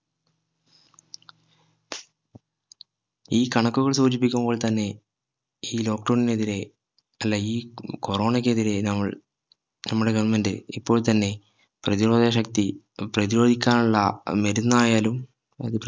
ഈ കണക്കുകൾ സൂചിപ്പിക്കുമ്പോൾ തന്നെ ഈ lockdown എതിരെ അല്ല ഈ corona ക്ക് എതിരെ നമ്മൾ നമ്മുടെ government ഇപ്പോൾ തന്നെപ്രതിരോധ ശക്തി പ്രതിരോധിക്കാനുള്ള മരുന്നായാലും